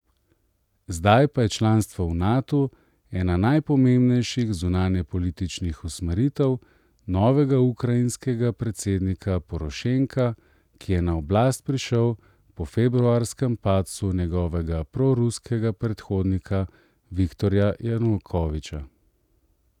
Zdaj pa je članstvo v Natu ena najpomembnejših zunanjepolitičnih usmeritev novega ukrajinskega predsednika Porošenka, ki je na oblast prišel po februarskem padcu njegovega proruskega predhodnika Viktorja Janukoviča.